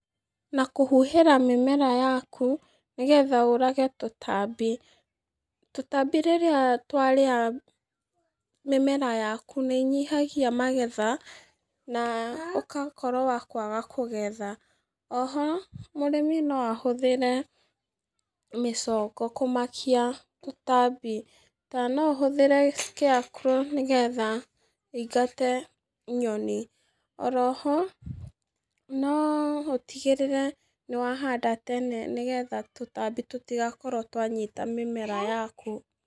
Na kũhuhĩra mĩmera yaku nĩ getha ũũrage tũtambi. Tũtambi rĩrĩa twarĩa mĩmera yaku nĩ inyihagia magetha, na ũgakorwo wa kwaga kũgetha. Oho, mũrĩmi no ahũthĩre mĩcongo kũmakia tũtambi, kana no ũhũthĩre scarecrow nĩ getha ĩingate nyoni. Oro ho, no ũtigĩrĩre nĩ wahanda tene nĩ getha tũtambi tũtigakorwo twanyita mĩmera yaku.